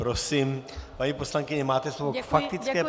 Prosím, paní poslankyně, máte slovo k faktické poznámce.